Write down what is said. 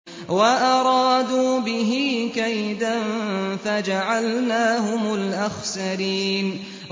وَأَرَادُوا بِهِ كَيْدًا فَجَعَلْنَاهُمُ الْأَخْسَرِينَ